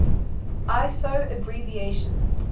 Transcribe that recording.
iso abbreviation